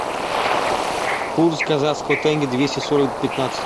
курс казахского тенге двести сорок пятнадцать